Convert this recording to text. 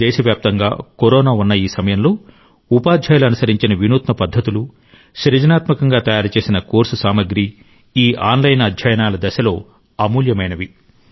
దేశవ్యాప్తంగా కరోనా ఉన్న ఈ సమయంలో ఉపాధ్యాయులు అనుసరించిన వినూత్న పద్ధతులు సృజనాత్మకంగా తయారుచేసిన కోర్సు సామగ్రి ఆన్లైన్ అధ్యయనాల ఈ దశలో అమూల్యమైనవి